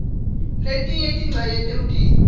letinye tincenye temtimba